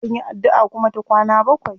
Akan yi addu'a kuma ta kwana bakwai.